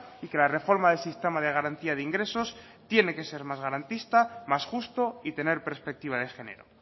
y que la reforma del sistema de garantía de ingresos tiene que ser más garantista más justo y tener perspectiva de género